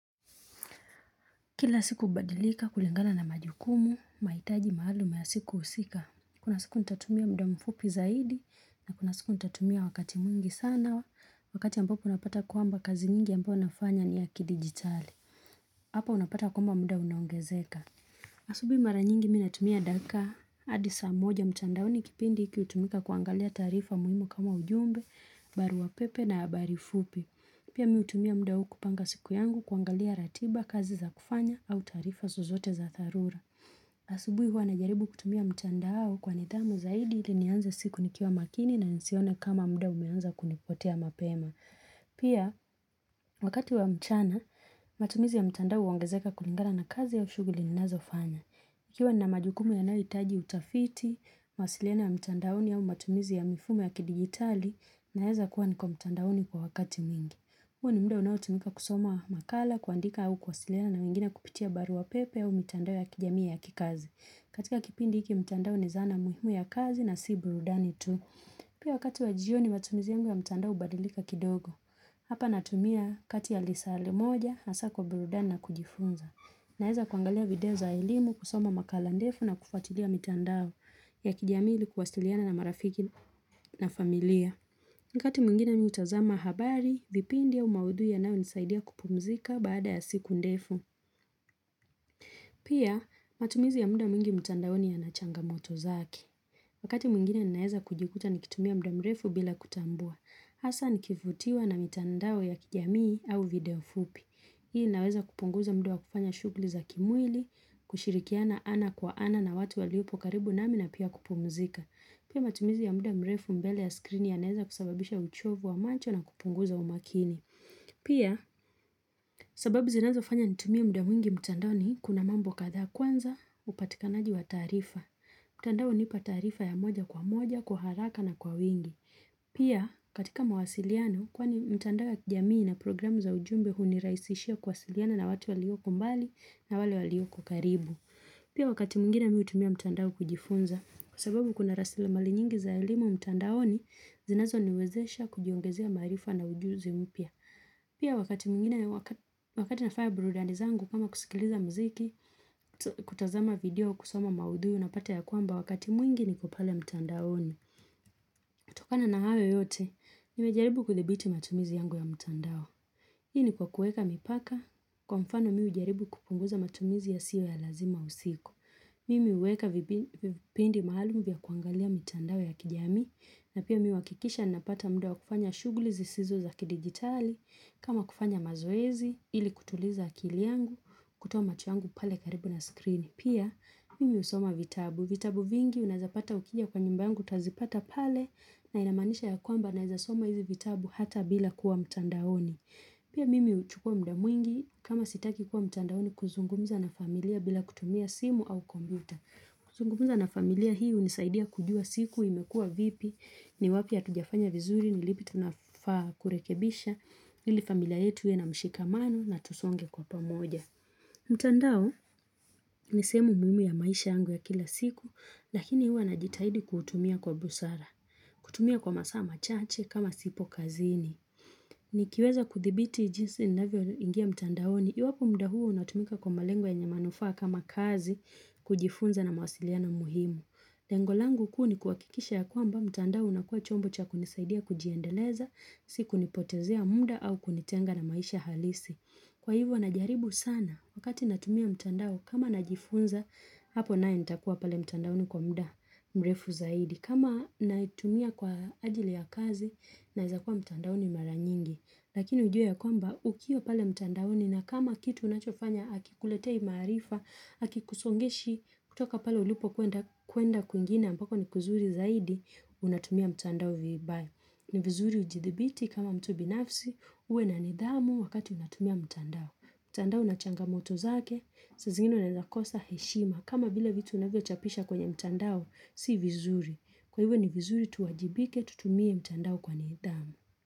Kila siku hubadilika kulingana majukumu, mahitaji maalum ya siku husika. Kuna siku ntatumia mda mfupi zaidi na kuna siku ntatumia wakati mwingi sana wa wakati ambapo unapata kwamba kazi nyingi ambayo nafanya ni ya ki digitali. Hapa unapata kwamba mda unaongezeka. Asubi mara nyingi mi natumia dakika adi saa moja mtandaoni kipindi iki utumika kuangalia taarifa muhimu kama ujumbe, barua pepe na habari fupi. Pia mi utumia mda huu kupanga siku yangu kuangalia ratiba kazi za kufanya au taarifa zozote za dharura. Asubui huwa na jaribu kutumia mtandao kwa nidhamu zaidi ili nianze siku nikiwa makini na nisione kama mda umeanza kunipotea mapema. Pia, wakati wa mchana, matumizi ya mtandao huongezeka kulingana na kazi au shuguli ninazo fanya. Ikiwa na majukumu yanayoitaji utafiti, mawasiliano ya mtandaoni au matumizi ya mifumo ya kidijitali naeza kuwa niko mtandaoni kwa wakati mwingi. Huoni mdao unao tumika kusoma makala, kuandika au kuwasiliana na wengine kupitia barua pepe au mitandao ya kijamii ya kikazi. Katika kipindi iki mtandao ni zana muhimu ya kazi na si burudani tu. Pia wakati wa jioni matumizi yangu ya mtandao ubadilika kidogo. Hapa natumia kati ya lisaa li moja hasa kwa burudani na kujifunza. Naeza kuangalia video za elimu kusoma makala ndefu na kufuatilia mitandao ya kijamii ili kuwasiliana na marafiki na familia. Wakati mwingine mi hutazama habari, vipindi au maudhui yanayonisaidia kupumzika baada ya siku ndefu. Pia matumizi ya muda mwingi mtandaoni ya na changa moto zake. Wakati mwingine ninaeza kujikuta nikitumia mda mrefu bila kutambua. Hasa nikivutiwa na mitandao ya kijamii au video fupi. Hii inaweza kupunguza mda wa kufanya shuguli za kimwili, kushirikiana ana kwa ana na watu waliopo karibu nami na pia kupumzika. Pia matumizi ya muda mrefu mbele ya skrini yanaeza kusababisha uchovu wa macho na kupunguza umakini. Pia, sababu zinazofanya nitumie muda mwingi mtandaoni kuna mambo kadhaa kwanza upatikanaji wa taarifa. Mtandao hunipa taarifa ya moja kwa moja, kwa haraka na kwa wingi. Pia, katika mawasiliano, kwani mtandao ya kijamii na programu za ujumbe huniraisishia kwasiliano na watu walioko mbali na walioko karibu. Pia wakati mwingine mihutumia mtandao kujifunza, kwa sababu kuna rasile mali nyingi za elimu mtandaoni zinazo niwezesha kujiongezea maarifa na ujuzi mpya. Pia wakati mwingine au wakati nafanya burudani zangu kama kusikiliza mziki, kutazama video kusoma maudhui unapata ya kwamba wakati mwingi ni kopale mtandaoni. Tokana na hayo yote, nimejaribu kuthibiti matumizi yangu ya mtandao. Hii ni kwa kuweka mipaka, kwa mfano mi hujaribu kupunguza matumizi ya sio ya lazima usiku. Mimi huweka vipindi maalum vya kuangalia mitandao ya kijamii, na pia mi uhakikisha napata muda wakufanya shuguli zisizo za kidigitali, kama kufanya mazoezi, ili kutuliza akili yangu, kutoa macho yangu pale karibu na screen. Pia, mimi usoma vitabu. Vitabu vingi, unazapata ukija kwa nyumba yangu, utazipata pale, na inamaanisha ya kwamba naezasoma hizi vitabu hata bila kuwa mtandaoni. Pia mimi huchukua mda mwingi kama sitaki kuwa mtandaoni kuzungumza na familia bila kutumia simu au kompyuta. Kuzungumza na familia hii unisaidia kujua siku imekua vipi ni wapi hatujafanya vizuri ni lipi tunafaa kurekebisha ili familia yetu iwe na mshikamano na tusonge kwa pamoja. Mtandao ni sehemu muhimu ya maisha yangu ya kila siku lakini huwa najitahidi kuutumia kwa busara. Kutumia kwa masaa machache kama sipo kazini. Ni kiweza kuthibiti jinsi ninavyo ingia mtandaoni. Iwapo mda huo unatumika kwa malengo yenye manufaa kama kazi, kujifunza na mawasiliano muhimu. Lengo langu kuu ni kuhakikisha ya kwamba mtandao unakua chombo cha kunisaidia kujiendeleza, si kunipotezea muda au kunitenga na maisha halisi. Kwa hivyo najaribu sana. Wakati natumia mtandao kama najifunza, hapo nae nitakuwa pale mtandaoni kwa mda mrefu zaidi. Kama naitumia kwa ajili ya kazi naezakua mtandaoni mara nyingi Lakini ujue ya kwamba ukiwa pale mtandaoni na kama kitu unachofanya Hakikuletei maarifa, hakikusongeshi kutoka pale ulipokwenda kuenda kwingine ambako ni kuzuri zaidi, unatumia mtandao viibai ni vizuri ujithibiti kama mtu binafsi, uwe na nidhamu wakati unatumia mtandao mtandao unachanga moto zake, zingine unaezakosa heshima kama vile vitu unavyo chapisha kwenye mtandao, si vizuri Kwa ivo ni vizuri tuwajibike tutumie mtandao kwa nidhamu.